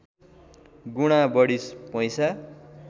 गुणा बढी पैसा